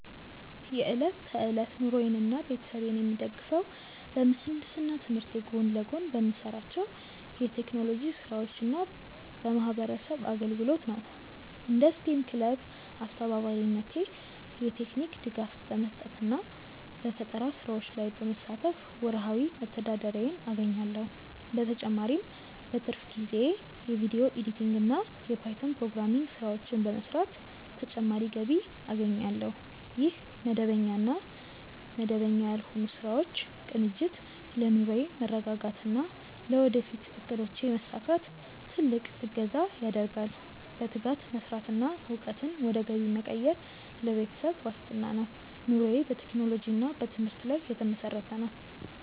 የዕለት ተዕለት ኑሮዬንና ቤተሰቤን የምደግፈው በምህንድስና ትምህርቴ ጎን ለጎን በምሰራቸው የቴክኖሎጂ ስራዎችና በማህበረሰብ አገልግሎት ነው። እንደ ስቴም ክለብ አስተባባሪነቴ የቴክኒክ ድጋፍ በመስጠትና በፈጠራ ስራዎች ላይ በመሳተፍ ወርሃዊ መተዳደሪያዬን አገኛለሁ። በተጨማሪም በትርፍ ጊዜዬ የቪዲዮ ኤዲቲንግና የፓይተን ፕሮግራሚንግ ስራዎችን በመስራት ተጨማሪ ገቢ አገኛለሁ። ይህ መደበኛና መደበኛ ያልሆኑ ስራዎች ቅንጅት ለኑሮዬ መረጋጋትና ለወደፊት እቅዶቼ መሳካት ትልቅ እገዛ ያደርጋል። በትጋት መስራትና እውቀትን ወደ ገቢ መቀየር ለቤተሰብ ዋስትና ነው። ኑሮዬ በቴክኖሎጂና በትምህርት ላይ የተመሰረተ ነው።